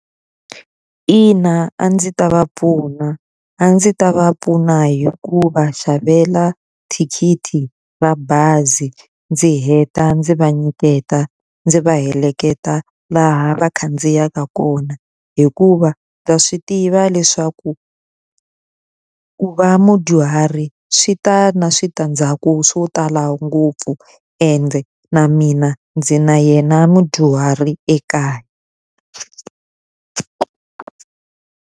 Ina a ndzi ta va pfuna. A ndzi ta va pfuna hi ku va xavela thikithi ra bazi ndzi heta ndzi va nyiketa, ndzi va heleketa laha va khandziyaka kona. Hikuva ndza swi tiva leswaku ku va mudyuhari swi ta na switandzhaku swo tala ngopfu ende, na mina ndzi na yena mudyuhari ekaya.